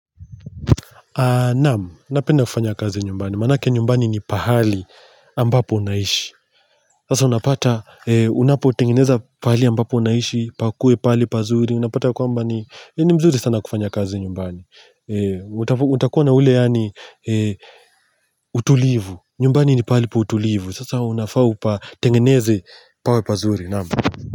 Naam, napenda kufanya kazi nyumbani, maanake nyumbani ni pahali ambapo unaishi Sasa unapata, unapotengeneza pahali ambapo unaishi, pakue pali pazuri Unapata kwa ambani, ni mzuri sana kufanya kazi nyumbani utakuwa na ule yaani utulivu, nyumbani ni pahali pa utulivu Sasa unapotengeneze pawe pazuri, naam.